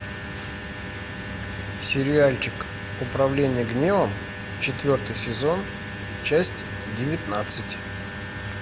сериальчик управление гневом четвертый сезон часть девятнадцать